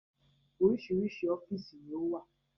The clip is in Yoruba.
Oríṣiríṣi ọ́fíìsì ni ó wà